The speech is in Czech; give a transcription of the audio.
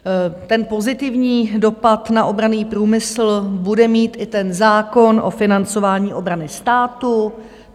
Ten pozitivní dopad na obranný průmysl bude mít i ten zákon o financování obrany státu.